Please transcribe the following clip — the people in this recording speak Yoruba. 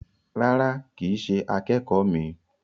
Rárá, kìí ṣe akẹ́kọ̀ míì.